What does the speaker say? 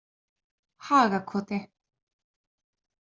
Hagakoti